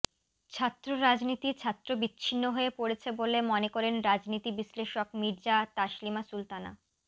ছাত্র রাজনীতি ছাত্র বিচ্ছিন্ন হয়ে পড়েছে বলে মনে করেন রাজনীতি বিশ্লেষক মির্জা তাসলিমা সুলতানা